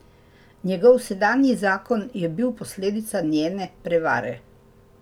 Njegov sedanji zakon je bil posledica njene prevare.